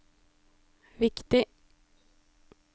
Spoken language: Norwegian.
viktig